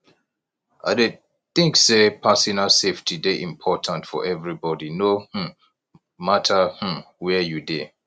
i dey think say personal safety dey important for everybody no um matter um where you dey